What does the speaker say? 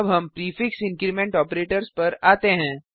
अब हम prefix increment operators पर आते हैं